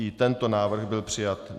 I tento návrh byl přijat.